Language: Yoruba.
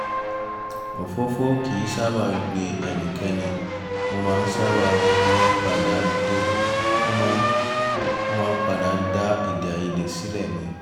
òfófó kì í sábà gbe ẹnikẹ́ni ó máa ń padà dá èdèàìyedè sílẹ̀ ni